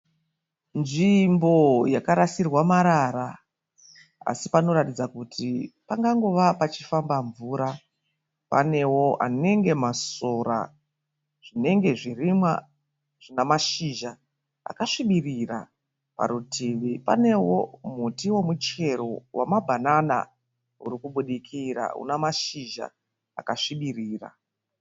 Nzvimbo yakarasirwa marara así panoratidza kuti pangangova pachifamba mvura. Panewo anenge masora zvinenge zvirimwa zvina mashizha akasvibirira. Parutivi panewo muti wemubhanana wamabanana urikubudikira unamashizha akasvibirira.